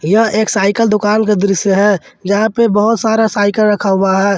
यह एक साइकल दुकान का दृश्य है जहां पे बहुत सारा साइकिल रखा हुआ है।